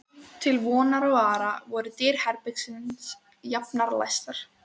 Til vonar og vara voru dyr herbergisins jafnan læstar.